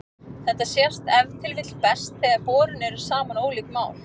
Þetta sést ef til vill best þegar borin eru saman ólík mál.